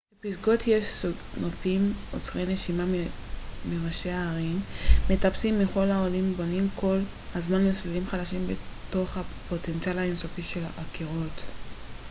בפסגות יש נופים עוצרי נשימה מראשי ההרים מטפסים מכל העולם בונים כל הזמן מסלולים חדשים בתוך הפוטנציאל האינסופי של הקירות